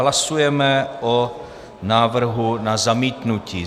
Hlasujeme o návrhu na zamítnutí.